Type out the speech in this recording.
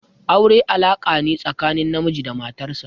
Aure alaka ne tsakanin namiji da matar sa.